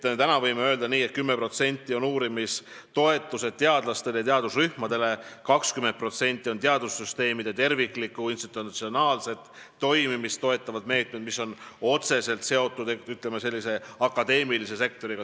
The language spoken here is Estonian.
Võib öelda, et 10% sellest rahast on uurimistoetused teadlastele ja teadusrühmadele, 20% läheb teadussüsteemide terviklikku ja institutsionaalset toimimist toetavatele meetmetele, mis on otseselt seotud akadeemilise sektoriga.